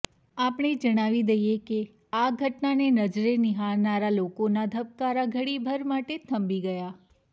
આપને જણાવી દઇએ કે આ ઘટનાને નજરે નિહાળનારા લોકોના ધબકારા ઘડીભર માટે થંભી ગયા